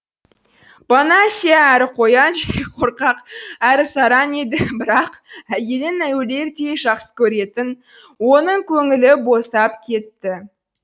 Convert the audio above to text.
бонасье әрі қоян жүрек қорқақ әрі сараң еді бірақ әйелін өлердей жақсы көретін оның көңілі босап кетті